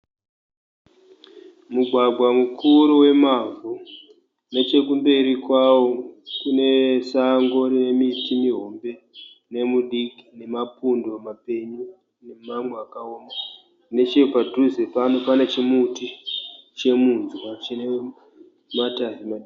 Mugwagwa mukuru wemavhu, nechekumberi kwawo kune sango nemiti muhombe nemudiki nemapundo mapenyu nemamwe akaoma. Nechepadhuze pano pane chimuti chemunzwa chine matanda.